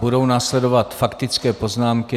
Budou následovat faktické poznámky.